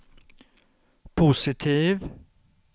positiv